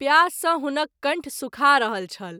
प्यास सँ हुनक कंठ सूखा रहल छल।